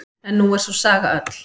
En nú er sú saga öll.